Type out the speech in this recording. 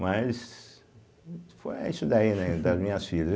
Mas, foi é isso daí, né, das minhas filhas.